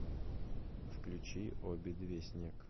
включи обе две снег